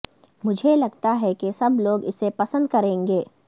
مجھے لگتا ہے کہ سب لوگ اسے پسند کریں گے